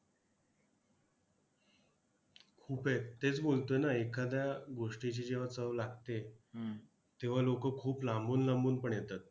खूप आहेत. तेच बोलतोय ना एखाद्या गोष्टीची जेव्हा चव लागते तेव्हा लोकं खूप लांबून लांबून पण येतात.